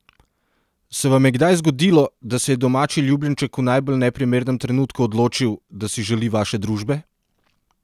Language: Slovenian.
Se vam je kdaj zgodilo, da se je domači ljubljenček v najbolj neprimernem trenutku odločil, da si želi vaše družbe?